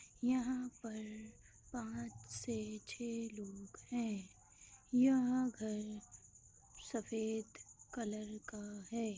यहाँ पर पांच से छे लोग हैं यह घर सफ़ेद कलर का है।